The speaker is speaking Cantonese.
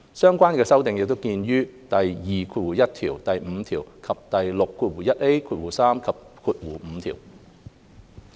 相關修訂見於第21條、第5條，以及第6、3及5條。